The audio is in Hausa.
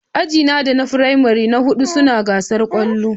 Ajina da na firamare na hudu suna gasar kwallon.